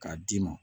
K'a d'i ma